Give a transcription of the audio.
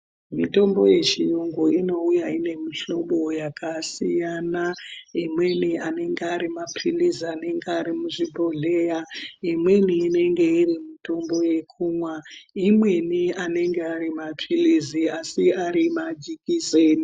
Mitombo yechiyungu inouya inemuhlobo yakasiyana imweni anenge ari mapilizi anenge ari muzvibhohleya imweni inenge iri mutombo yekumwa imweni iri mutombo yekumwa imweni anenge ari mapilizi asi ari madyikiseni.